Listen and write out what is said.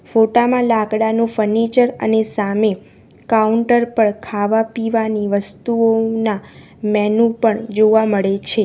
ફોટા માં લાકડાનું ફર્નિચર અને સામે કાઉન્ટર પર ખાવા પીવાની વસ્તુઓના મેનૂ પણ જોવા મળે છે.